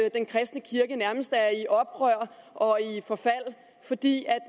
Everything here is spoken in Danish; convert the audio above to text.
at den kristne kirke nærmest er i oprør og i forfald fordi